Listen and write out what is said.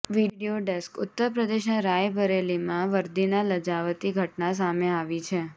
video desk ઉત્તર પ્રદેશના રાયબરેલીમાં વરદીને લજાવતી ઘટના સામે આવી છે